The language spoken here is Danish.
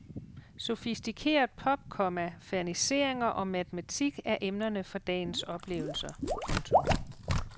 Sofistikeret pop, komma ferniseringer og matematik er emnerne for dagens oplevelser. punktum